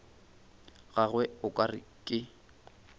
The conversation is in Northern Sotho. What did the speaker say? gagwe o ka re ke